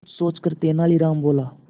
कुछ सोचकर तेनालीराम बोला